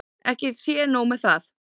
Ekki sé nóg með það.